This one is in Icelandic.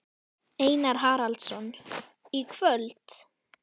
Einar Haraldsson: Í kvöld?